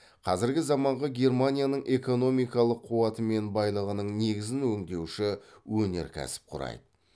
қазіргі заманғы германияның экономикалық қуаты мен байлығының негізін өңдеуші өнеркәсіп құрайды